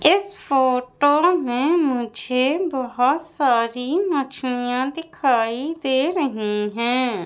इस फोटो में मुझे बहोत सारी मछलियां दिखाई दे रही हैं।